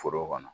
Foro kɔnɔ